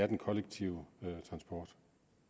den kollektive transport